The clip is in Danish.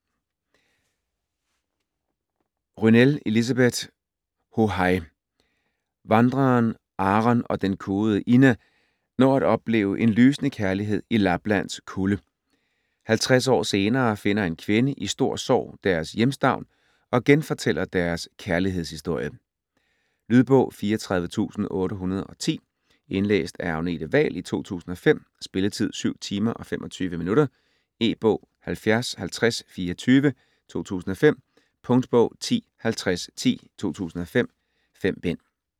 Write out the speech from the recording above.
Rynell, Elisabeth: Hohaj Vandreren Aron og den kuede Inna når at opleve en lysende kærlighed i Lapplands kulde. 50 år senere finder en kvinde i stor sorg deres hjemstavn og genfortæller deres kærlighedshistorie. Lydbog 34810 Indlæst af Agnete Wahl, 2005. Spilletid: 7 timer, 25 minutter. E-bog 705024 2005. Punktbog 105010 2005. 5 bind.